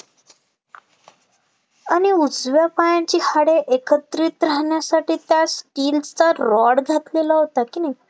आणि उजव्या पायाची हाडे एकत्रित राहण्यासाठी त्यास steel चा rod घातलेला होता की नाही